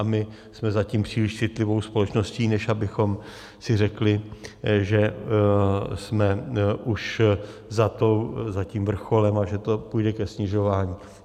A my jsme zatím příliš citlivou společností, než abychom si řekli, že jsme už za tím vrcholem a že to půjde ke snižování.